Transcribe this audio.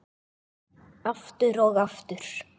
Aftur og aftur.